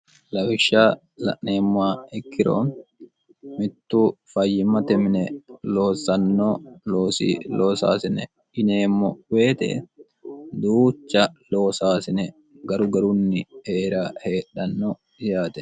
lawikhsha la'neemmaa ikkiro mittu fayyimmate mine loosanno oosi loosaasine ineemmo weete duucha loosaasine garu garunni eera heedhanno disaate